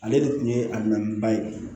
Ale de tun ye a minɛn ba ye